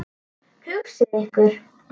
Hugsið ykkur!